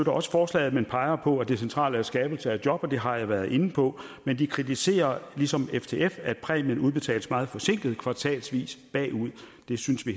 også forslaget men peger på at det centrale er skabelse af job og det har jeg været inde på men de kritiserer ligesom ftf at præmien udbetales meget forsinket kvartalsvis bagud det synes vi